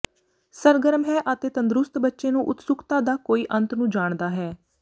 ਸਰਗਰਮ ਹੈ ਅਤੇ ਤੰਦਰੁਸਤ ਬੱਚੇ ਨੂੰ ਉਤਸੁਕਤਾ ਦਾ ਕੋਈ ਅੰਤ ਨੂੰ ਜਾਣਦਾ ਹੈ